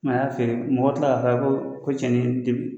Mɛ a y'a feere mɔgɔ tila ka taa ko ko cɛni te